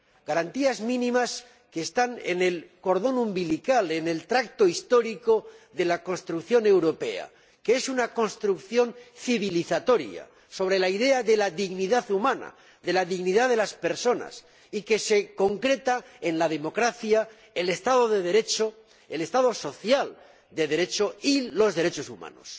Garantías mínimas que están en el cordón umbilical, en el tracto histórico de la construcción europea, que es una construcción civilizatoria sobre la idea de la dignidad humana, de la dignidad de las personas, y que se concreta en la democracia, el Estado de Derecho, el Estado social de Derecho y los derechos humanos.